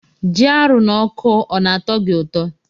Ji arụ na ọkụ ọna atọ gi ụtọ?